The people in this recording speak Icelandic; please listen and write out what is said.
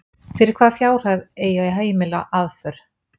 Fyrir hvaða fjárhæð eigi að heimila aðför?